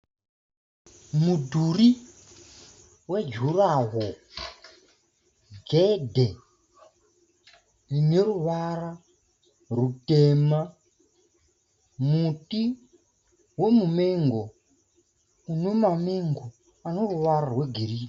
Mudhuri wejuraworo, gedhe rine ruvara rutema, muti wemumengo une mamengo aneruvara rwegirini.